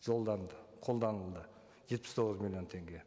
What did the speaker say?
жолданды қолданылды жетпіс тоғыз миллион теңге